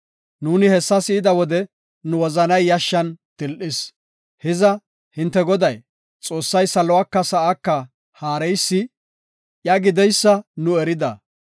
Nuuni hessa si7ida wode, nu wozanay yashshan til7is. Hiza, hinte Goday, Xoossay saluwaka sa7aaka haareysi iya gideysa nu erida.